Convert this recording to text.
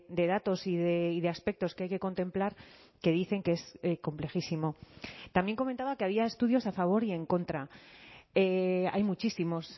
de datos y de aspectos que hay que contemplar que dicen que es complejísimo también comentaba que había estudios a favor y en contra hay muchísimos